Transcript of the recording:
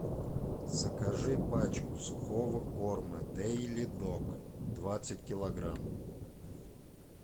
закажи пачку сухого корма дэйли дог двадцать килограмм